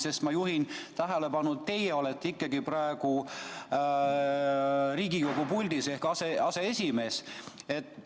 Sest ma juhin tähelepanu, et teie olete ikkagi praegu Riigikogu puldis ehk aseesimees.